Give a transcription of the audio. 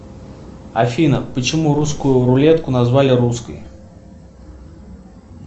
афина почему русскую рулетку назвали русской